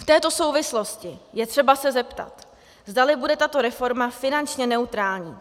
V této souvislosti je třeba se zeptat, zdali bude tato reforma finančně neutrální.